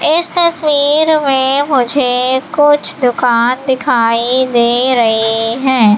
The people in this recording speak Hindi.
इस तस्वीर में मुझे कुछ दुकान दिखाई दे रही है।